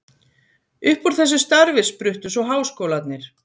Upp úr þessu starfi spruttu svo háskólarnir.